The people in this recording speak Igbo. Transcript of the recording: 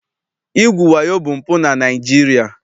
Igwu wayo bụ mpụ na Naịjirịa.